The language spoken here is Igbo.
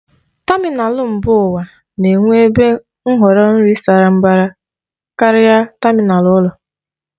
Tamịnal mba ụwa na-enwe ebe nhọrọ nri sara mbara karịa tamịnal ụlọ.